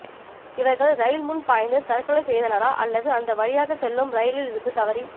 இவர்கள் ரயில் முன் பாய்ந்து தற்கொலை செய்தனரா அல்லது அந்த வழியாக செல்லும் ரயிலில் இருந்து தவறி